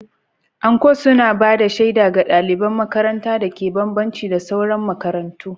Anko suna ba da shaida ga ɗaliban makarantar dake bambanci da sauran makarantu.